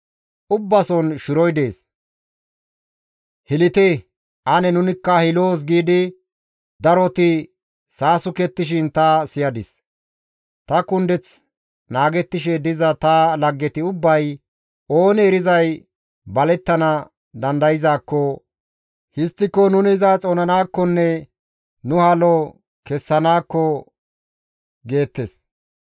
«Ubbason shiroy dees; hilite ane nunikka hiloos» giidi daroti saasukettishin ta siyadis; ta kundeth naagettishe diza ta laggeti ubbay, «Oonee erizay balettana dandayzaakko histtiko nuni iza xoonanakkonne nu halo kessanakko» geettes.